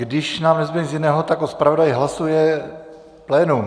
Když nám nezbude nic jiného, tak o zpravodaji hlasuje plénum.